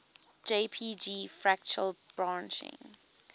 jpg fractal branching